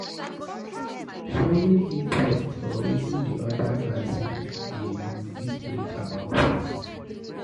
Showing interest for wetin di oda person dey do fit bring about trust